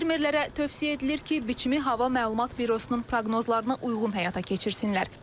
Fermerlərə tövsiyə edilir ki, biçimi hava məlumat bürosunun proqnozlarına uyğun həyata keçirsinlər.